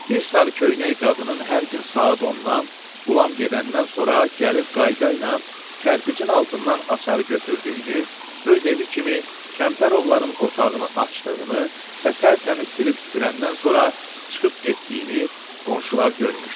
Bir sarıköynək qadının hər gün saat 10-dan Qulam gedəndən sonra gəlib qaydayla kərpicin altından açarı götürdüyünü, öz evi kimi Kəmtərovların otağını açdığını və tərtəmiz silib süpürəndən sonra çıxıb getdiyini qonşular görmüşdülər.